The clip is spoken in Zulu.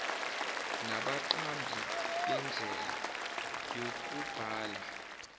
nabaqambi bendlela yokubhala